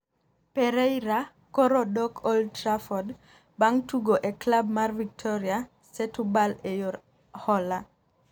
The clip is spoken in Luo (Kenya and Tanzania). Pereira koro dok Old Traford bang tugo e klab mar Victoria Setubal e yor hola